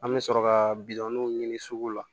An bɛ sɔrɔ ka bidɔnw ɲini sugu la